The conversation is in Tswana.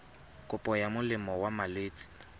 kopo ya molemo wa malwetse